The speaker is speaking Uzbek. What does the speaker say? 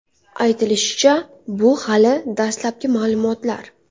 Aytilishicha, bu hali dastlabki ma’lumotlar.